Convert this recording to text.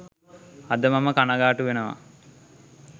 අද මම කණගාටු වෙනවා